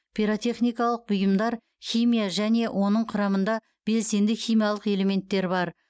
пирротехникалық бұйымдар химия және оның құрамында белсенді химиялық элементтер бар